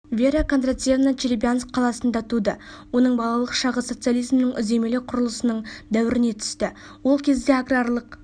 вера кондратьевна челябинск қаласында туды оның балалық шағы социализмнің үдемелі құрылысының дәуіріне түсті сол кезде аграрлық